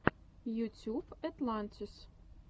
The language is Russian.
ютюб этлантис